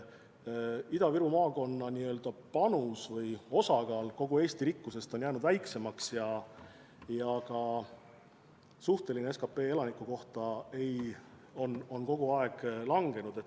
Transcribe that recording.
Ida-Viru maakonna panus kogu Eesti rikkusesse on jäänud väiksemaks ja ka SKP elaniku kohta on kogu aeg langenud.